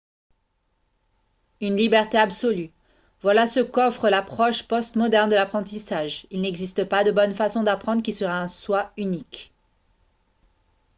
un liberté absolue voilà ce qu'offre l'approche post-moderne de l'apprentissage il n'existe pas de bonne façon d'apprendre qui serait en soi unique